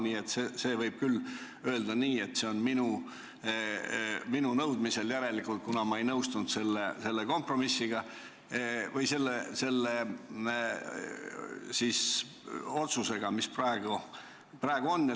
Nii et järelikult võib küll öelda nii, et ettepanek on saalis minu nõudmisel, kuna ma ei nõustunud otsusega, mis praegu on langetatud.